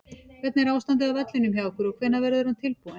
Hvernig er ástandið á vellinum hjá ykkur og hvenær verður hann tilbúinn?